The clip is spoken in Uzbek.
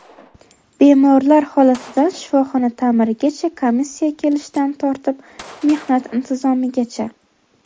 Bemorlar holatidan shifoxona ta’mirigacha, komissiya kelishidan tortib mehnat intizomigacha.